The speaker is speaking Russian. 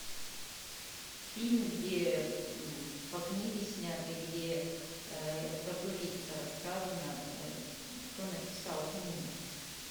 фильм где по книге снятый где про туриста рассказано кто написал книгу